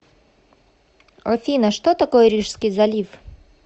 афина что такое рижский залив